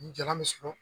Ni jalan bɛ sɔrɔ